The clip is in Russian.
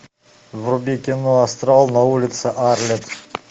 вруби кино астрал на улице арлетт